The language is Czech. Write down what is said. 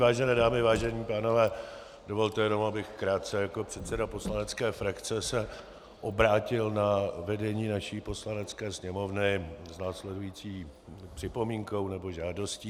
Vážené dámy, vážení pánové, dovolte jenom, abych krátce jako předseda poslanecké frakce se obrátil na vedení naší Poslanecké sněmovny s následující připomínkou nebo žádostí.